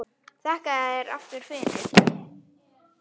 Þakka þér aftur fyrir.